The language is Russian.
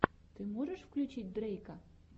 ты можешь включить дрейка